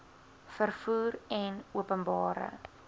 vervoer en openbare